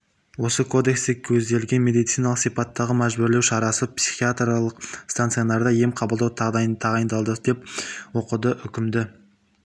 осы кодексте көзделген медициналық сипаттағы мәжбүрлеу шарасы психиатриялық стационарда ем қабылдау тағайындалды деп оқыды үкімді